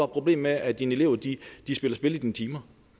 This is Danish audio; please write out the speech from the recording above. problem med at dine elever spiller spil i dine timer